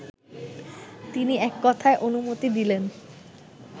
তিনি এককথায় অনুমতি দিলেন